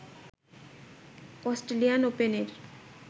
Australian ওপেনের